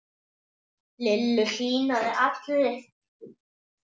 Lillu hlýnaði allri.